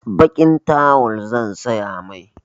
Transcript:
Baƙin tawal zan saya mai.